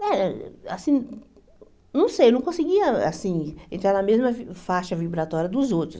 Eh assim não sei, eu não conseguia assim entrar na mesma faixa vibratória dos outros.